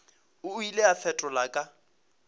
o ile a fetola ka